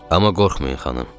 Amma qorxmayın xanım.